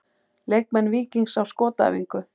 Leikmenn Víkings á skotæfingu.